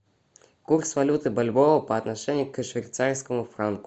курс валюты бальбоа по отношению к швейцарскому франку